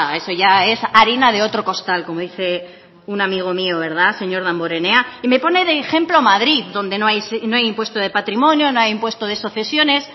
eso ya es harina de otro costal como dice un amigo mío señor damborenea me pone de ejemplo a madrid donde no hay impuesto de patrimonio no hay impuesto de sucesiones